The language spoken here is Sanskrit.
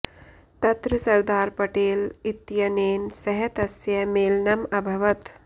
तत्र सरदार पटेल इत्यनेन सह तस्य मेलनम् अभवत्